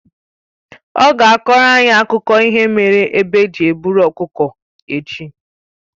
Ọ ga-akọrọ anyị akụkọ ihe mere egbe ji e buru ọkụkọ echi